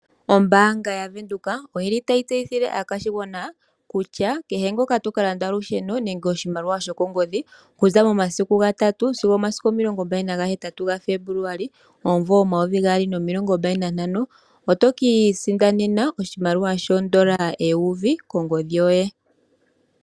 Ombanga yaVenduka oyi li tayi tseyithile aakwashigwana kutya kehe ngoka toka landa olusheno nenge oshimaliwa shokongodhi kuza momasiku ga tatu sigo omasiku omilongo mbali nahetatu omumvo 2025 otokiisindanena oshimaliwa shoondola eyovi kongodhi yoye.